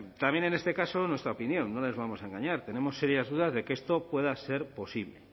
también en este caso en nuestra opinión no les vamos a engañar tenemos serias dudas de que esto pueda ser posible